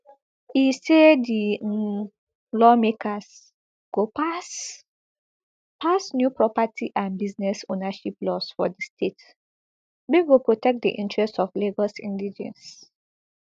e say di um lawmakers go pass pass new property and business ownership laws for di state wey go protect di interest of lagos indigenes